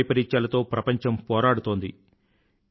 ప్రకృతి వైపరీత్యాలతో ప్రపంచం పోరాడుతోంది